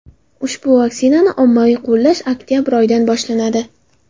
Ushbu vaksinani ommaviy qo‘llash oktabr oyidan boshlanadi .